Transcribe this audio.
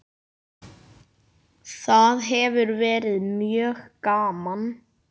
Það hefur verið mjög gaman.